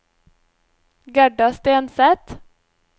Gerda Stenseth